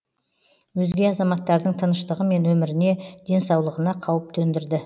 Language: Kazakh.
өзге азаматтардың тыныштығы мен өміріне денсаулығына қауіп төндірді